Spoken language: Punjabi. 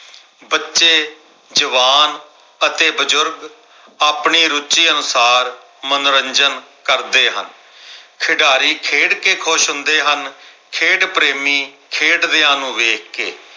ਬੱਚੇ, ਜਵਾਨ ਅਤੇ ਬਜ਼ੁਰਗ ਆਪਣੀ ਰੁਚੀ ਅਨੁਸਾਰ ਮਨੋਰੰਜਨ ਕਰਦੇ ਹਨ। ਖਿਡਾਰੀ ਖੇਡ ਕਿ ਖੁਸ਼ ਹੁੰਦੇ ਹਨ ਖੇਡ ਪ੍ਰੇਮੀ ਖੇਡਦਿਆਂ ਨੂੰ ਵੇਖ ਕੇ